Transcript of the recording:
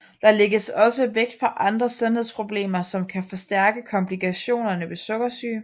Der lægges også vægt på andre sundhedsproblemer som kan forstærke komplikationerne ved sukkersyge